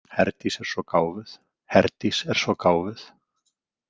Herdís er svo gáfuð, Herdís er svo gáfuð.